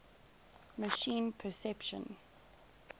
machine perception